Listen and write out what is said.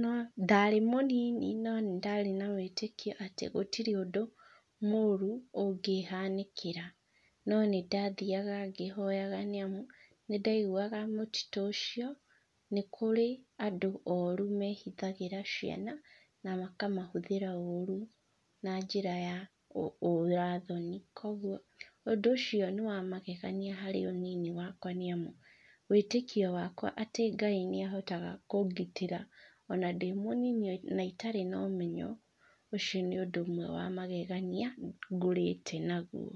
no ndarĩ mũnini no, nĩ ndarĩ na wĩtĩkia atĩ gũtirĩ ũndũ mũru ũngĩhanĩkĩra. No nĩ ndathiaga ngĩhoyaga nĩ amu nĩ ndaiguaga mũtitũ ũcio nĩ kũrĩ andũ oru mehithagĩra ciana na makamahũthĩra ũũru na njĩra ya ũra thoni. Koguo, ũndũ ũcio nĩ wa magegania harĩ ũnini wakwa nĩ amu wĩtĩkia wakwa atĩ Ngai nĩ ahotaga kũngitĩra ona ndĩ mũnini na itarĩ na ũmenyo, ũcio nĩ ũndũ ũmwe wa magegania ngũrĩte naguo.